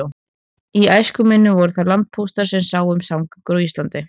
Í æsku minni voru það landpóstarnir sem sáu um samgöngur á landi.